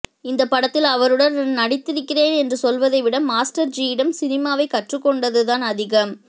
இந்தப் படத்தில் அவருடன் நான் நடித்திருக்கிறேன் என்று சொல்வதைவிட மாஸ்டர்ஜியிடம் சினிமாவைக் கற்றுக்கொண்டதுதான் அதிகம்